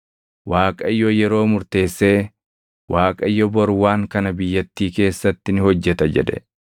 Waaqayyo yeroo murteessee, “ Waaqayyo bor waan kana biyyattii keessatti ni hojjeta” jedhe.